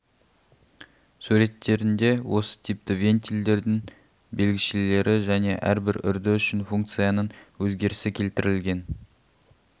суреттерінде осы типті вентильдердің белгішелері және әрбір үрді үшін функцияның өзгерісі келтірілген